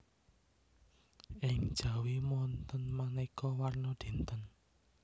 Ing Jawi wonten manéka warna dinten